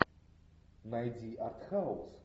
найди арт хаус